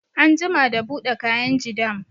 An jima da buɗe kainji dam